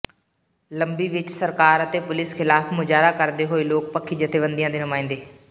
ਲੰਬੀ ਵਿੱਚ ਸਰਕਾਰ ਅਤੇ ਪੁਲੀਸ ਖ਼ਿਲਾਫ਼ ਮੁਜ਼ਾਹਰਾ ਕਰਦੇ ਹੋਏ ਲੋਕਪੱਖੀ ਜਥੇਬੰਦੀਆਂ ਦੇ ਨੁਮਾਇੰਦੇ